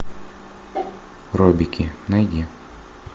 робики найди